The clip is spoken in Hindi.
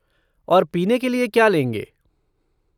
और पीने के लिए क्या लेंगे?